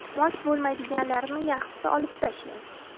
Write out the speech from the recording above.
Mos bo‘lmaydiganlarini yaxshisi olib tashlang.